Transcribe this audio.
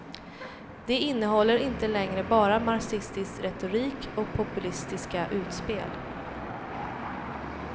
De innehåller inte längre bara marxistisk retorik och populistiska utspel.